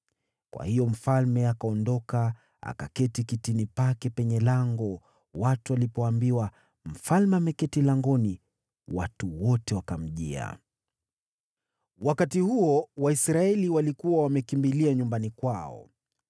Kwa hiyo mfalme akaondoka akaketi kitini pake penye lango. Watu walipoambiwa, “Mfalme ameketi langoni,” watu wote wakamjia. Daudi Arudi Yerusalemu Wakati huo, Waisraeli walikuwa wamekimbilia nyumbani kwao.